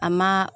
A ma